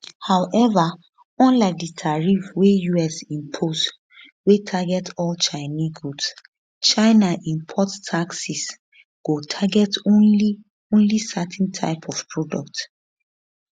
however unlike di tariffs wey us impose wey target all chinese goods china import taxes go target only only certain types of products